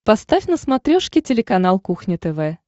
поставь на смотрешке телеканал кухня тв